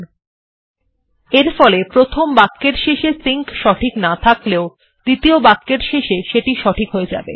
এরফলে এমনকি যদি প্রথম বাক্যের শেষে সিঙ্ক সঠিক নাও থাকে দ্বিতীয় বাক্যের শেষে সেটি সঠিক হয়ে যাবে